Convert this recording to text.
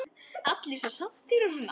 Allir svo saddir og svona.